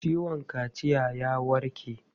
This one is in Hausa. Ciwon kaciyan ya warke?